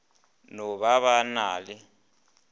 no ba ba na le